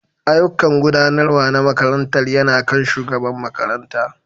Ayyukan Gudanarwa na makarantar yana kan shugaban makaranta